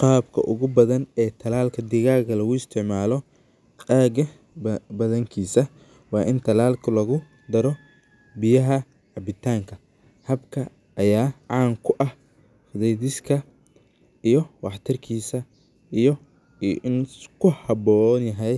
Qabka ogu badan ee talalka digaga lagu isticmalo aga badankisa waa in talalku lagu daro biyaha cabitanka habka aya can ku ah fudediska iyo wax tarkisa iyo in lasku habonyahay